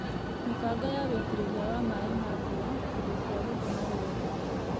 mĩbango ya wĩitĩrĩria wa maĩ ma mbura, indo cia gũthima rĩera,